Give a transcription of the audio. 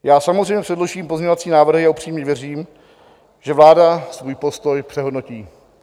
Já samozřejmě předložím pozměňovací návrhy a upřímně věřím, že vláda svůj postoj přehodnotí.